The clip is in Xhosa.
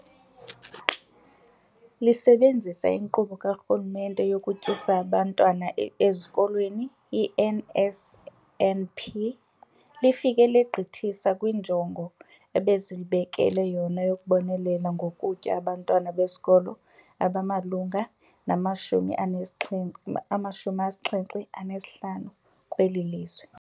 Lisebenzisa iNkqubo kaRhulumente yokuTyisa Abantwana Ezikolweni, i-NSNP, lifike legqithisa kwinjongo ebelizibekele yona yokubonelela ngokutya abantwana besikolo abamalunga nama-75 kweli lizwe.